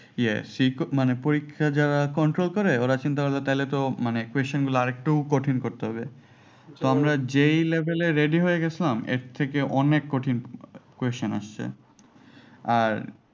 ইয়ে মানে পরীক্ষা যারা control করে ওরা চিন্তা করল টালে তো মানে question গোলা আরেকটু কঠিন করতে হবে তো আমরা যেই level এ ready হয়ে গেছিলাম এর থেকে অনেক কঠিন question আসছে আর